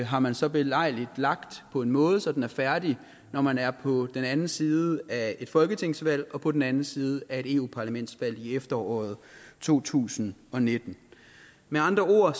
har man så belejligt lagt på en måde så den er færdig når man er på den anden side af et folketingsvalg og på den anden side af et eu parlamentsvalg i efteråret to tusind og nitten med andre ord